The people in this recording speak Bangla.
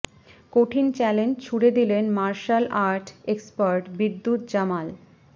কঠিন চ্যালেঞ্জ ছুঁড়ে দিলেন martial art expert Vidyut Jamal